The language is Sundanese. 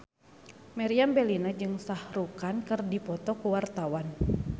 Meriam Bellina jeung Shah Rukh Khan keur dipoto ku wartawan